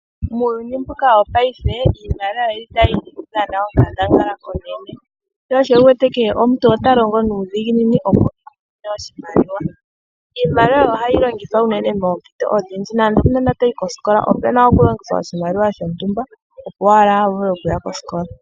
Muuyuni wo payife iimaliwa ota yi dhana onkandangala onene shosho wuwete kehe omuntu otalongo nuudhinginini opo amone oshimaliwa. Iimaliwa ohayi longithwa unene moompito odhindji nande ngele okaana takayi kosikola opuna okulongithwa iimaliwa opo kavule okuya kosikola.